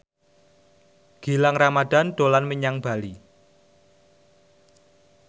Gilang Ramadan dolan menyang Bali